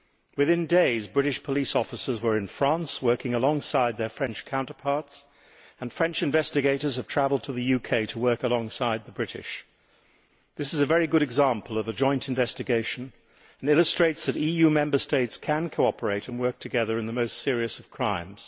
Within days, British police officers were in France working alongside their French counterparts, and French investigators have travelled to the UK to work alongside the British. This is a very good example of a joint investigation and illustrates that EU Member States can cooperate and work together on the most serious of crimes.